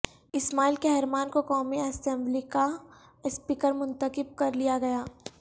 اسماعیل Kahraman کو قومی اسمبلیکا اسپیکر منتخب کرلیا گیا